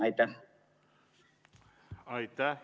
Aitäh!